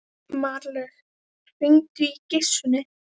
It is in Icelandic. Marlaug, hringdu í Gissunni.